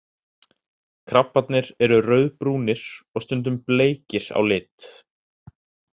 Krabbarnir eru rauðbrúnir og stundum bleikir á lit.